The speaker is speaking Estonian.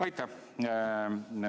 Aitäh!